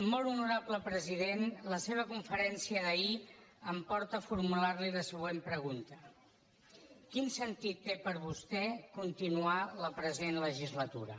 molt honorable president la seva conferència d’ahir em porta a formular li la següent pregunta quin sentit té per a vostè continuar la present legislatura